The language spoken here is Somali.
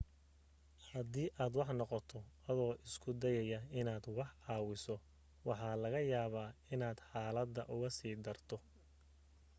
hadii aad wax noqoto adoo isku dayaya inaad wax caawiso waxa laga yaaba inaad xaaladda uga sii darto